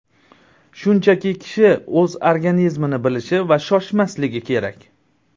Shunchaki kishi o‘z organizmini bilishi va shoshmasligi kerak.